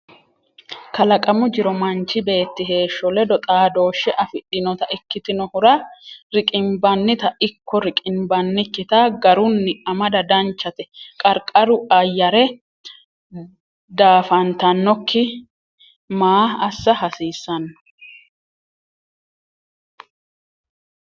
Kalaqamu jiro manchi beetti heeshsho ledo xaadooshshe afidhinota ikkitinohura riqimbannita ikko riqimbannikkita garunni amada danchate Qarqaru ayyare daafantannokki maa assa haasisano?